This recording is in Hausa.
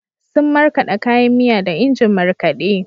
Sun markaɗa kayan miya da injin markaɗe.